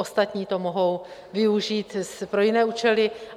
Ostatní to mohou využít pro jiné účely.